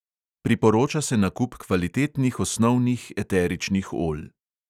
Priporoča se nakup kvalitetnih osnovnih eteričnih olj.